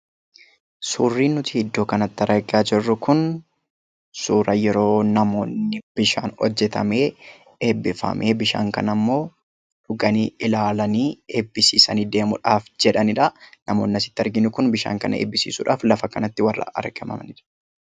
Suuraa kanaa gadii irratti kan argamu kun suuraa yeroo namoonni bishaan hojjetamee eebbifamu; akkasumas bishaan kana immoo dhuganii ilaalanii eebbisiisanii deemuuf kan jedhanii dha. Namoonni bakka kanatti argamanis bishaan kana eebbisiisuuf warra bakka kanatti argamanii dha.